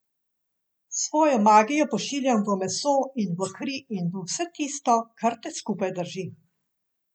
Svojo magijo pošiljam v meso in v kri in v vse tisto, kar te skupaj drži.